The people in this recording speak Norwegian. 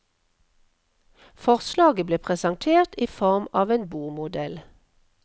Forslaget ble presentert i form av en bordmodell.